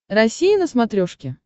россия на смотрешке